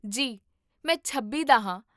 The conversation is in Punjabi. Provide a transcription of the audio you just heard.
ਜੀ, ਮੈਂ ਛੱਬੀ ਦਾ ਹਾਂ